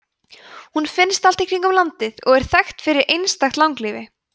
hún finnst allt í kringum landið og er þekkt fyrir einstakt langlífi